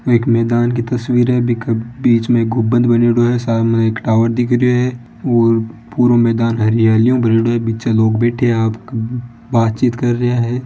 एक मैदान की तस्वीर हैबिंके बीच में गुंबद बण्योड़ो हैं सामने एक टॉवर दिख रियो है और पूरो मैदान हरियाली उ भरयोड़ो हैबीच में लोग बैठ्या हैं बातचीत कर रिया हैं।